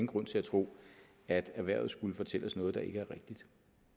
grund til at tro at erhvervet skulle fortælle os noget der ikke er rigtigt